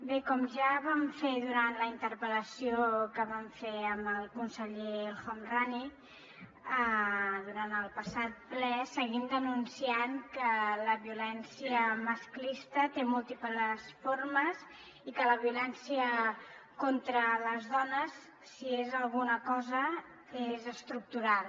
bé com ja vam fer durant la interpel·lació que vam fer amb el conseller el homrani durant el passat ple seguim denunciant que la violència masclista té múltiples formes i que la violència contra les dones si és alguna cosa és estructural